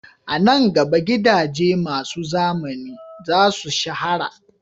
A nan gaba, gidaje masu zamani za su shahara